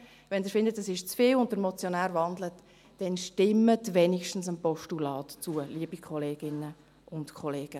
Wenn Sie denken, das sei zu viel, und wenn der Motionär wandelt, dann stimmen Sie doch wenigstens dem Postulat zu, liebe Kolleginnen und Kollegen.